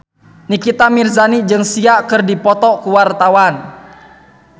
Nikita Mirzani jeung Sia keur dipoto ku wartawan